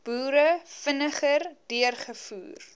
boere vinniger deurgevoer